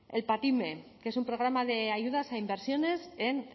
el patime que es un programa de ayudas a inversiones en